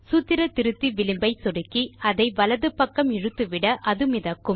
சூத்திர திருத்தி விளிம்பை சொடுக்கி அதை வலது பக்கம் இழுத்துவிட அது மிதக்கும்